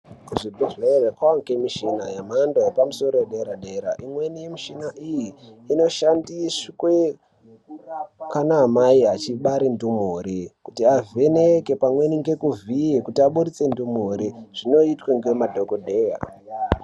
Kuzvibhedhlere kwangemishina yemhando yedera dera. Imweni yemishina iyi inoshandiswe kana mai echibare ndumure kuti avheneke pamweni ngekuvhiya kuti abudise ndumure. Zvinoitwe ngemadhokodheya.